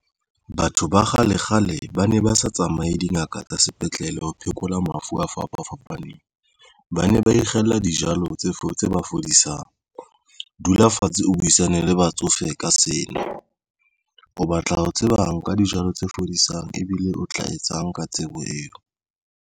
Batho ba kgale kgale ba ne ba sa tsamaye dingaka tsa sepetlele ho phekola mafu a fapa fapaneng. Ba ne ba ikgella dijalo tse fodisang. Dula fatshe o buisane le batsofe ka sena o batla ho tseba nka dijalo tse fodisang ebile o tla etsang ka tsebo eo